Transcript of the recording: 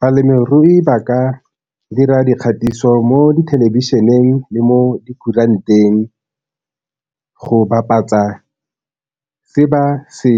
Balemirui ba ka dira dikgatiso mo dithelebišeneng le mo dikuranteng go bapatsa se ba se